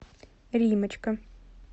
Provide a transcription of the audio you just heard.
риммочка